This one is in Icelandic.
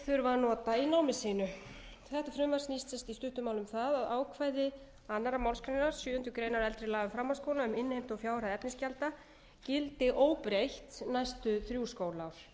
þurfa að nota í námi sínu þetta frumvarp snýst sem sagt í stuttu máli um það að ákvæði önnur málsgrein sjöundu greinar eldri laga um framhaldsskóla um innheimtu og fjárhæð efnisgjalda gildi óbreytt næstu þrjú skólaár